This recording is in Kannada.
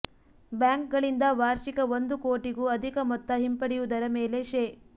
ಬ್ಯಾಂಕ್ಗಳಿಂದ ವಾರ್ಷಿಕ ಒಂದು ಕೋಟಿಗೂ ಅಧಿಕ ಮೊತ್ತ ಹಿಂಪಡೆಯುವುದರ ಮೇಲೆ ಶೇ